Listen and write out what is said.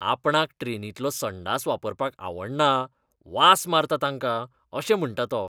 आपणाक ट्रेनींतलो संडास वापरपाक आवडना, "वास मारता तांकां" अशें म्हणटा तो.